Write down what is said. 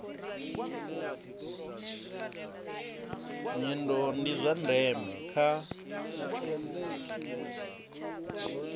nyendo ndi zwa ndeme kha